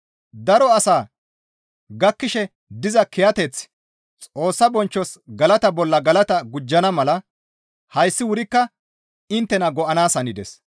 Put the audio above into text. Daro asaa gakkishe diza kiyateththi Xoossa bonchchos galata bolla galata gujjana mala hayssi wurikka inttena go7anaas hanides.